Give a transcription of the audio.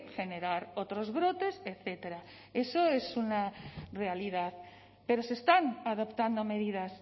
generar otros brotes etcétera eso es una realidad pero se están adoptando medidas